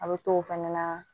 A bɛ t'o fɛnɛ na